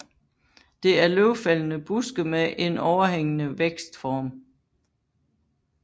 Det er løvfældende buske med en overhængende vækstform